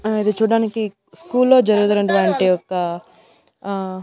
ఆ అది చూడ్డానికి స్కూల్లో జరుగుతున్నటువంటి ఒక ఆ--